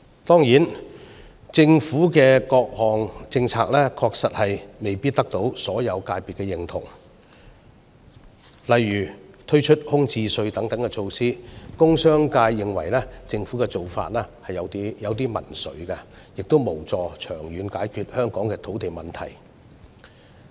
當然，政府的各項政策確實未必得到所有界別的認同，例如推出空置稅等措施，工商界認為政府的做法有點民粹，亦無助長遠解決香港的土地問題。